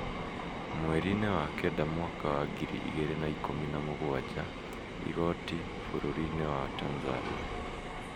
mwerinĩ wa kenda mwaka wa ngiri igĩrĩ na ikũmi na mũgwaja, igoti bũrũrinĩ wa Tanzania